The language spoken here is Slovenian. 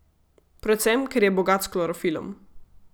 Predvsem, ker je bogat s klorofilom.